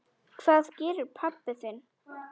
Hvað gerir pabbi þinn?